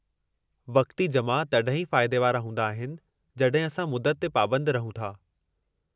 वक़्ती जमा तॾहिं ई फ़ाइदे वारा हूंदा आहिनि जडहिं असां मुदत ते पाबंद रहूं था।